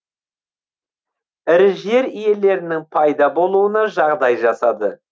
ірі жер иелерінің пайда болуына жағдай жасады